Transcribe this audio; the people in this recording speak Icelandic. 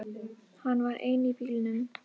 Hann var einn í bílnum.